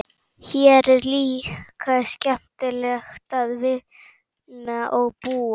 Hér er líka skemmtilegt að vinna og búa.